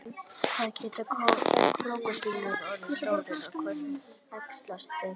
hvað geta krókódílar orðið stórir og hvernig æxlast þeir